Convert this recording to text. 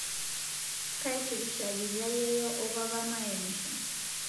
Kaitirishakita yeiyo oopapa mayemisho